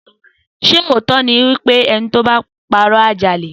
Sẹ òtọ ni wípẹ̀ ẹni tọ bà pàró à jà lè